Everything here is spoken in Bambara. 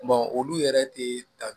olu yɛrɛ te ta